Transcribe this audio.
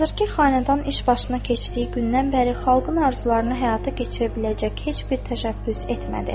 Hazırkı xanədan iş başına keçdiyi gündən bəri xalqın arzularını həyata keçirə biləcək heç bir təşəbbüs etmədi.